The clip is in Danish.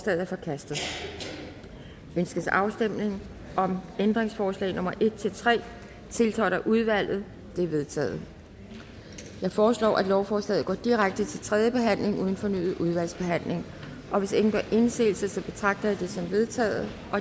er forkastet ønskes afstemning om ændringsforslag nummer en tre tiltrådt af udvalget de er vedtaget jeg foreslår at lovforslaget går direkte til tredje behandling uden fornyet udvalgsbehandling og hvis ingen gør indsigelse betragter jeg det som vedtaget